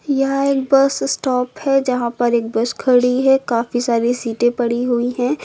यह एक bus stop है यहां पर एक बस खड़ी है काफी सारी सीटें पड़ी हुई हैं।